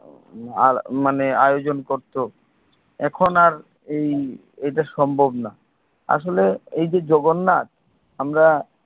আর মানে আয়োজন করতো এখন আর এই এটা সম্ভব না আসলে এই যে জগন্নাথ আমরা